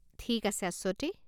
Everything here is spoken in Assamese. ঠিক আছে আশ্বতী।